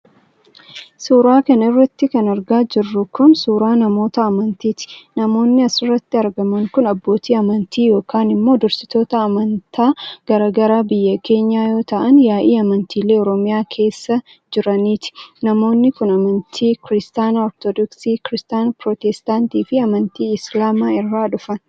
Suura kana irratti kan argaa jirru kun ,suura namoota amantiiti. Namoonni as irratti argaman kun abbootii amantaa yokin immoo dursitoota amantaa garaa garaa biyya keenyaa yoo ta'an ,yaa'ii amantiilee oromiyaa keessa jiraniiti. Namoonni kun, amantii Kiristaana Ortodooksii, Kiristaana pirootestaantii fi amantii Islaamaa irraa dhufan.